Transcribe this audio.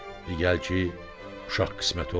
Gəl ki, uşaq qismət olmur.